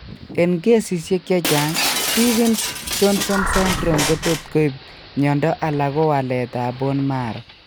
Eng' kesisiek chemachang' Stevens Johnson syndrome kotot koib mionndo ala ko waleet ab bone marrow